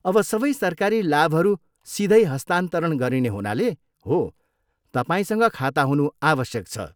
अब सबै सरकारी लाभहरू सिधै हस्तान्तरण गरिने हुनाले, हो, तपाईँसँग खाता हुनु आवश्यक छ।